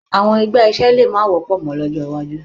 Àwọn ẹgbẹ́ iṣẹ́ lè má wọ́pọ̀ mọ́ lọ́jọ́ iwájú